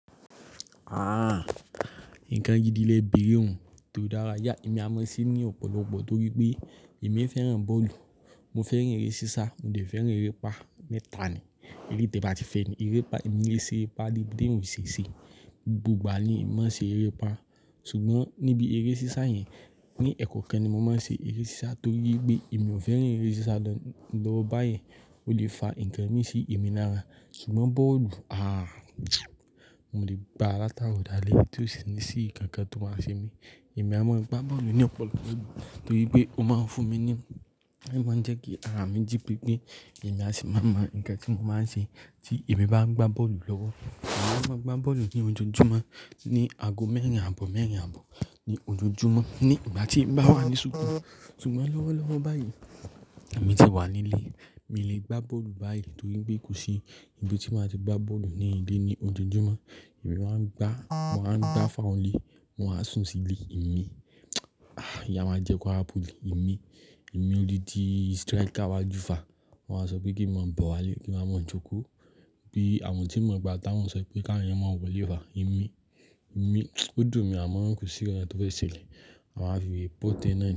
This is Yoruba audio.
Ah, n kan gidi lé bere un etó dára yà. Emi a mọ se ní ọ̀pọ̀lọpọ̀ torí pé emí fẹ́ràn bọ́ọ̀lù. Mo fẹ́ràn eré sisa, mo dẹ̀ fẹ́ràn erépa, mẹ́ta ni. Èle te bá ti fẹ́ni erépa, emí é se erépa débipẹ́ teyan ṣèṣe. Gbogbogbà ni emi mo ṣe erépa. Sugbon níbi eré sisa yẹn, ní ẹ́kọ́ kan ni mo mọ̀ ṣe eré sisa torí pé ìmí ò fẹ́ràn eré sisa lọ́wọ́ báyìí, ó lè fa ǹkan mí sí emí lára. Sugbon bọ́ọ̀lù, ah, mo lè bá látaro dàlé tó sì ní sí kànkàn tó máa ṣe mí. Emi a mọ̀ gba bọ́ọ̀lù ní ọ̀pọ̀lọpọ̀ ìgbà torí pé ó máa ń fún mí ní omọ̀ jẹ́ kí àramì jípe pé emí a sì mọ̀ mọ̀ ǹkan tí mo máa ṣe tí emí bá ń gba bọ́ọ̀lù lọ́wọ́. Emi a máa ń gba bọ́ọ̀lù ní ojoojúmọ́, ní aago mẹ́rìnlá ààbọ̀ mẹ́rìn ààbọ̀ ní ojoojúmọ́ ní ìgbà tí Ìgbà ti emi bawa ni súkù. Sugbon lọ́wọ́lọ́wọ́ báyìí, emì ti wà nílé, mi lè gbá bọ́ọ̀lù báyìí torí pé kò sí ibi tí mo ti máa ti gbá bọ́ọ̀lù ní ilé ní ojoojúmọ́. Emi máa ń gbá, màá ń gbá fáọ le, wọn á sùn sí ilé emí. Ah, ìyà máa jẹ kwará poly emí. Emi ò di di striker iwa ju fa. Wọn á sọ pé kí emí mo bọ̀ wá lé, kí wa mo jo ko. Bí àmọ́ tí ìmọ̀ gba tà wọ́n sọ pé ká eyan mo wọlé fa emí. Emi, ó dùn mi a mo ń ko sí nkan tó fe ṣẹlẹ̀. Máa fi wère port ẹ́ náà ni.